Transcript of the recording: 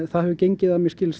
það hefur gengið